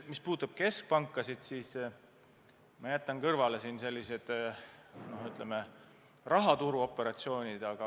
Mis puudutab keskpankasid, siis ma jätan kõrvale rahaturuoperatsioonid.